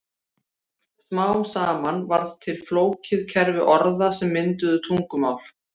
Smám saman varð til flókið kerfi orða sem mynduðu tungumál.